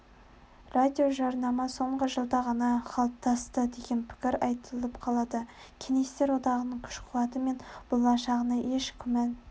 радиожарнама соңғы жылда ғана қалыптасты деген пікір айтылып қалады кеңестер одағының күш-қуаты мен болашағына еш күмән